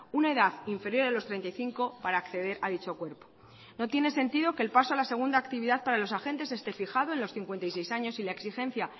una edad inferior a los treinta y cinco para acceder a dicho cuerpo no tiene sentido que el paso a la segunda actividad para los agentes esté fijado en los cincuenta y seis años y la exigencia